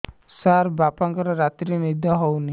ସାର ବାପାଙ୍କର ରାତିରେ ନିଦ ହଉନି